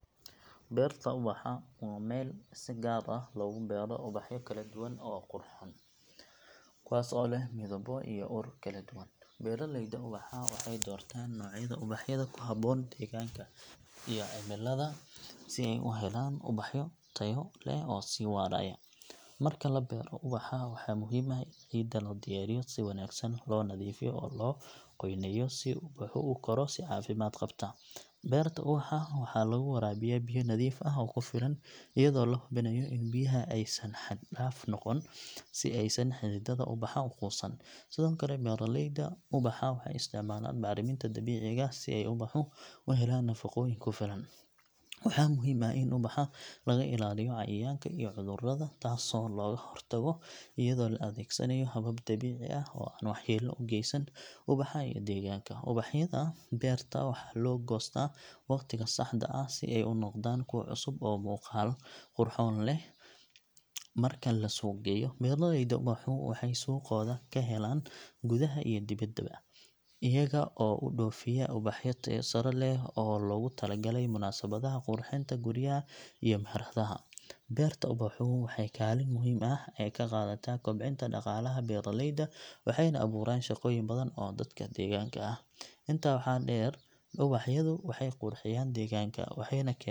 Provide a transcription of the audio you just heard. Beerta ubaxa waa meel si gaar ah loogu beero ubaxyo kala duwan oo qurxoon, kuwaas oo leh midabbo iyo ur kala duwan. Beeraleyda ubaxa waxay doortaan noocyada ubaxyada ku habboon deegaanka iyo cimilada si ay u helaan ubax tayo leh oo sii waaraya. Marka la beero ubaxa, waxaa muhiim ah in ciidda la diyaariyo si wanaagsan, loo nadiifiyo oo loo qoyneeyo si ubaxu u koro si caafimaad qabta. Beerta ubaxa waxaa lagu waraabiyaa biyo nadiif ah oo ku filan, iyadoo la hubinayo in biyaha aysan xad dhaaf noqon si aysan xididdada ubaxa u quusan. Sidoo kale, beeraleyda ubaxa waxay isticmaalaan bacriminta dabiiciga ah si ay ubaxu u helaan nafaqooyin ku filan. Waxaa muhiim ah in ubaxa laga ilaaliyo cayayaanka iyo cudurrada, taasoo looga hortago iyadoo la adeegsanayo habab dabiici ah oo aan waxyeello u geysan ubaxa iyo deegaanka. Ubaxyada beerta waxaa loo goostaa waqtiga saxda ah, si ay u noqdaan kuwo cusub oo muuqaal qurxoon leh marka la suuqgeeyo. Beeraleyda ubaxa waxay suuqooda ka helaan gudaha iyo dibadda, iyaga oo u dhoofiya ubaxyo tayo sare leh oo loogu talagalay munaasabadaha, qurxinta guryaha iyo meheradaha. Beerta ubaxu waxay kaalin muhiim ah ka qaadataa kobcinta dhaqaalaha beeraleyda, waxayna abuuraan shaqooyin badan oo dadka deegaanka ah. Intaa waxaa dheer, ubaxyadu waxay qurxiyaan deegaanka, waxayna .